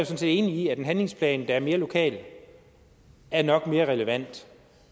set enig i at en handlingsplan der er mere lokal nok er mere relevant